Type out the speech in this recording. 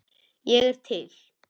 Ég er til.